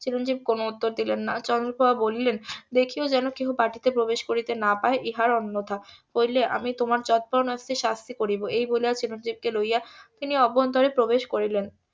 চিরঞ্জিব কোনো উত্তর দিলেন না চন্দ্রপ্রভা বলিলেন দেখিয়ো যেন কেহ বাটিতে প্রবেশ করিতে না পাই ইহার অন্যথা করিলে আমি তোমার যৎপরোনাস্তি শাস্তি করিব এই বলিয়া চিরঞ্জিব কে লইয়া তিনি অভ্যন্তরে প্রবেশ করিলেন